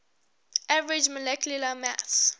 average molecular mass